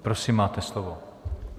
Prosím, máte slovo.